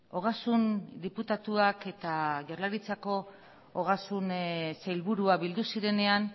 ogasun diputatuak eta jaurlaritzako ogasun sailburua bildu zirenean